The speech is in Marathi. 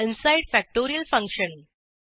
inside factorial function